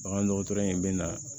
Bagandɔgɔtɔrɔ in bɛ na